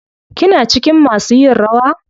Kina cikin masu yin rawa?